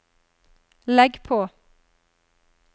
legg på